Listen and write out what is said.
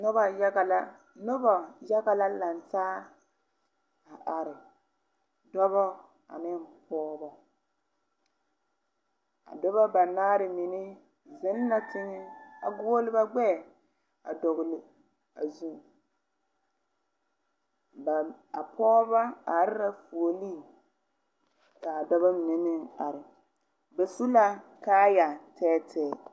Noba yaga la nobɔ yaga la langtaa a are dɔbɔ aneŋ pɔɔbɔ a dɔbɔ banaare mine zeŋ la teŋɛ a guole ba gbɛɛ a dɔgle a zu ba a poobɔ are la puoriŋ kaa dɔbɔ mine meŋ are ba su la kaaya tɛɛtɛɛ.